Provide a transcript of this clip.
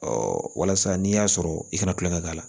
walasa n'i y'a sɔrɔ i kana tulonkɛ k'a la